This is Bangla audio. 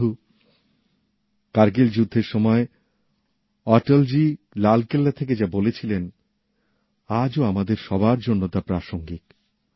বন্ধু কার্গিল যুদ্ধের সময় অটলজি লালকেল্লা থেকে যা বলেছিলেন আজও আমাদের সবার জন্য তা প্রাসঙ্গিক